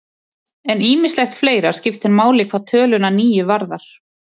En ýmislegt fleira skiptir máli hvað töluna níu varðar.